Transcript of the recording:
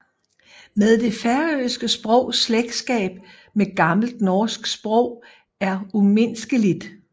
Men det færøske sprogs slægtskab med gammelt norsk sprog er umiskendeligt